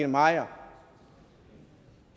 maier